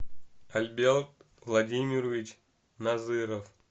альберт владимирович назыров